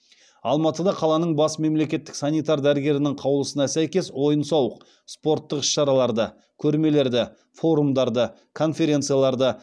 алматыда қаланың бас мемлекеттік санитар дәрігерінің қаулысына сәйкес ойын сауық спорттық іс шараларды көрмелерді форумдарды конференцияларды